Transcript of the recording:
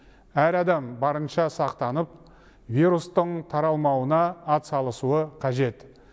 әр адам барынша сақтанып вирустың таралмауына атсалысуы қажет